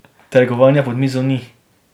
Trgovanja pod mizo ni.